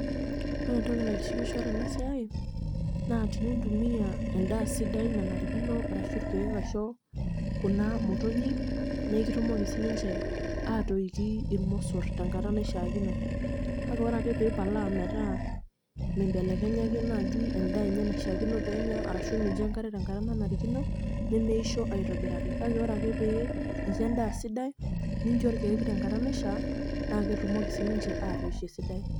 Ore enotki naitishipisho tena siai, naa tenintumiya endaa sidai nanarikino arashu ilkeek aisho kuna motonyik naa ekitumoki sii ninje aatoiki ilmosorr tenkata naishaakino, kake ore ake pee ipalaa metaa mimbelekenyaki naaaji endaa enye naishaakino pee enya aashu mincho enkare tenkata nanarikino, nemeisho aitobiraki, kake ore ake pee incho endaa sidai nincho ilkeek tenkata naishaa naa ketumoki sii ninche aatoisho esidai.